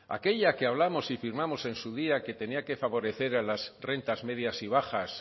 aquella que hablamos y firmamos en su día que tenía que favorecer a las rentas medias y bajas